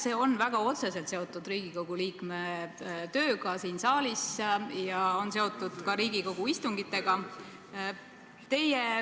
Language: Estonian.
See on väga otseselt seotud Riigikogu liikme tööga siin saalis ja on seotud ka Riigikogu istungitega.